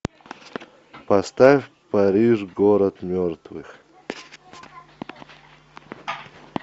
поставь париж город мертвых